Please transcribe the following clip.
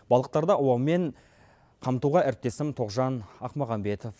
балықтарды аулаумен қамтуға әріптесім тоқжан ахмағанбетов